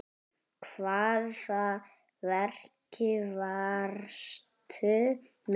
Hvaða verki varstu með?